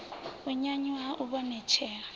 u nyanyuwa ha u ivhonetshela